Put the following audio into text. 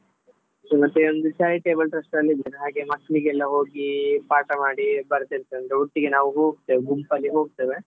ಮತ್ತೆ ಒಂದು charitable trust ಅಲ್ಲಿ ಇದ್ದೇನೆ ಹಾಗೆ ಮಕ್ಳಿಗೆಲ್ಲ ಹೋಗಿ ಪಾಠ ಮಾಡಿ ಬರ್ತೀರ್ತೆನೆ ಒಟ್ಟಿಗೆ ನಾವು ಹೋಗ್ತೇವೆ ಗುಂಪಲ್ಲಿ ಹೋಗ್ತೇವೆ.